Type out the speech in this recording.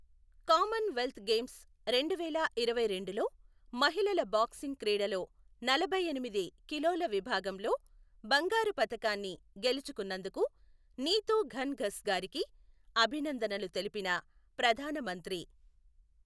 common wealth games రెండు వేల ఇరవై రెండులో మహిళల బాక్సింగ్ క్రీడలో నలభై ఎనిమిది కిలోల విభాగంలో బంగారు పతకాన్ని గెలుచుకొన్నందుకు నీతు ఘణ్ ఘస్ గారికి అభినందనలు తెలిపిన ప్రధాన మంత్రి